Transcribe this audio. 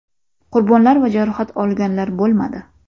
Qurbonlar va jarohat olganlar bo‘lmadi.